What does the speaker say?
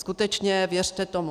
Skutečně, věřte tomu.